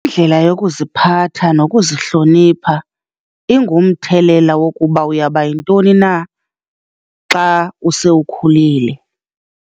Indlela yokuziphatha nokuzihlonipha ingumthelela wokuba uyaba yintoni na xa use ukhulile.